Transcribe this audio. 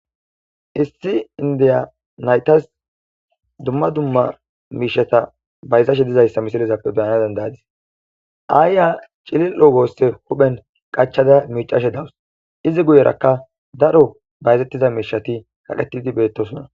issi indiya naytas dumma dumma miishata bayzashe dizayssa misilizappe beyana dandayadis aayya cilil'o goosse huphen qachada miicashe dawus izi guyerakka daro bayzettiza miishati kaqettidi beettosona